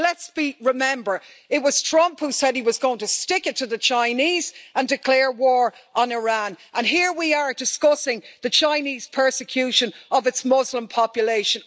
Let's remember that it was Trump who said he was going to stick it to the Chinese and declare war on Iran and here we are, discussing the Chinese persecution of its Muslim population.